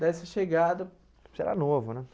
Dessa chegada... Você era novo, né?